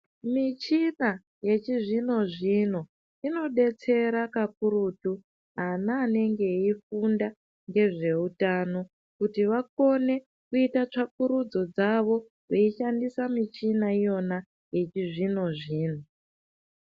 Michina yechizvino-zvino inodetsera kakurutu ana anenge eifunda ngezveutano kuti vakone kuite tsvakurudzo dzavo veishandisa michina iyona yechizvino-zvino.